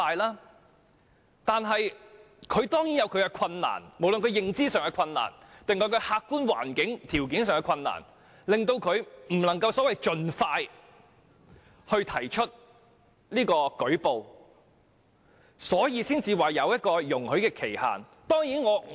然而，受害人當然有其困難，無論是認知上還是客觀環境條件上的困難，令他們無法盡快舉報，因而才會設立容許追溯的時效限制。